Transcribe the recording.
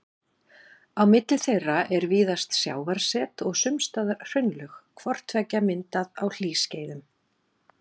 Á milli þeirra er víðast sjávarset og sums staðar hraunlög, hvort tveggja myndað á hlýskeiðum.